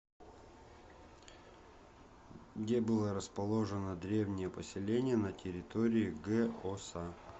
где было расположено древнее поселение на территории г оса